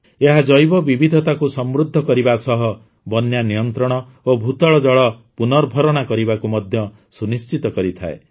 ଏହା ଜୈବବିବିଧତାକୁ ସମୃଦ୍ଧ କରିବା ସହ ବନ୍ୟା ନିୟନ୍ତ୍ରଣ ଓ ଭୂତଳ ଜଳ ପୁନର୍ଭରଣା କରିବାକୁ ମଧ୍ୟ ସୁନିଶ୍ଚିତ କରିଥାଏ